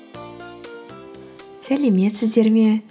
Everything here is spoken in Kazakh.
сәлеметсіздер ме